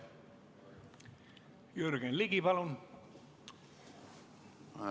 Jürgen Ligi, palun!